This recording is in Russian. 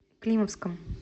климовском